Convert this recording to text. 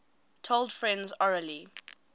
told friends orally